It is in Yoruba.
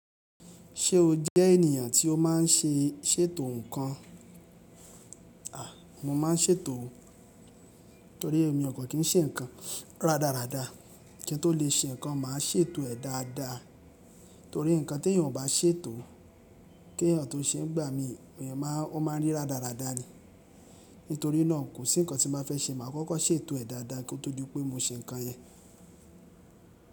Ṣé o jẹ́ ènìyàn tí ó máa ń ṣe, ṣ'ètò ǹkan? A, mo máa ń ṣètò. Nítorí èmi okàn kín ṣe ǹkan rádaràda. Kín tó lè ṣe ǹkan máa ṣ'ètò rẹ̀ dáadaa. Torí ǹkan tí èèyàn kò bá ṣètò, kí ẹ̀yàn tó ṣe ńigbà mí, èèyàn máa, ó máa rí rádaràda ni. Nítorí náà kò sí ǹkan tí mo bá fẹ́ ṣe màá kọ́kọ́ ṣètò rẹ̀ dáadáa kí ó tó di pé mo ṣe ǹkan yẹn.